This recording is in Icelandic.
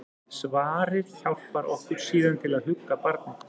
Svarið hjálpar okkur síðan til að hugga barnið.